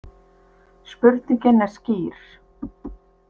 Spurningin er skýr.